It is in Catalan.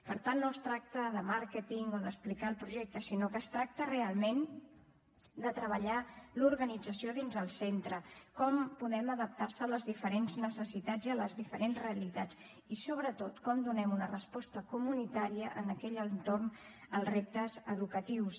per tant no es tracta de màrqueting o d’explicar el projecte sinó que es tracta realment de treballar l’organització dins el centre com podem adaptar nos a les diferents necessitats i a les diferents realitats i sobretot com donem una resposta comunitària en aquell entorn als reptes educatius